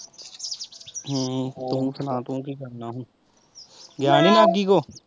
ਹਮ ਤੂੰ ਸੁਣਾ ਤੂੰ ਕੀ ਕਰਨਾ ਹੁਣ ਗਿਆ ਨੀ ਤੋਂ।